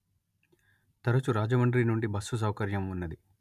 తరచు రాజమండ్రి నుండిబస్సు సౌకర్యం ఉన్నది